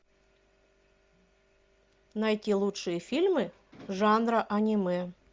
найти лучшие фильмы жанра аниме